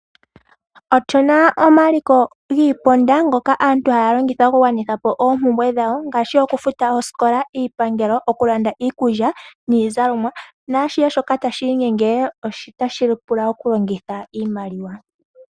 Otuna omaliko giiponda ngoka aantu haya longitha, okugwanithapo oompumbwe dhawo ngaashi, okufuta oosikola, iipangelo ,oku landa iikulya, niizalomwa naashihe shoka tashi inyenge, otashi pula oku longitha iimaliwa.